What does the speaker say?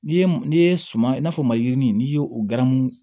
N'i ye n'i ye suman i n'a fɔ mayiginin n'i ye o garanmu